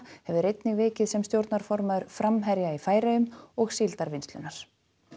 hefur einnig vikið sem stjórnarformaður framherja í Færeyjum og Síldarvinnslunnar